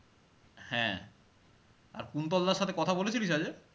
হ্যাঁ আর কুন্তল দাড় সাথে কথা বলেছিলিস আজকে?